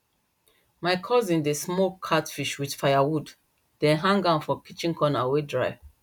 my cousin dey smoke catfish with firewood then hang am for kitchen corner wey dry